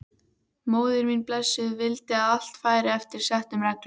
Móðir mín blessuð vildi að allt færi eftir settum reglum.